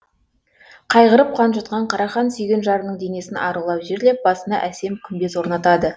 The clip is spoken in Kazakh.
қайғырып қан жұтқан қарахан сүйген жарының денесін арулап жерлеп басына әсем күмбез орнатады